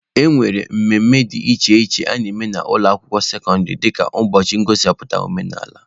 E nwere mmemme dị iche iche a na-eme n'ụlọ akwụkwọ sekọndịrị dịka ụbọchị ngosipụta omenaala.